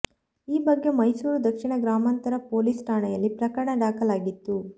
ಈ ಬಗ್ಗೆ ಮೈಸೂರು ದಕ್ಷಿಣ ಗ್ರಾಮಾಂತರ ಪೊಲೀಸ್ ಠಾಣೆಯಲ್ಲಿ ಪ್ರಕರಣ ದಾಖಲಾಗಿತ್ತು